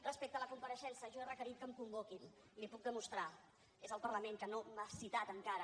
respecte a la compareixença jo he requerit que em convoquin li ho puc demostrar i és el parlament que no m’ha citat encara